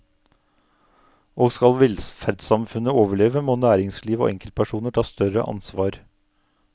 Og skal velferdssamfunnet overleve, må næringsliv og enkeltpersoner ta større ansvar.